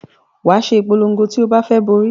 Wàá ṣe ìpolon̄go ti o bá fẹ borí